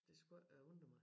Det skulle ikke undre mig